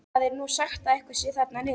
Það er nú sagt að eitthvað sé þar niðri.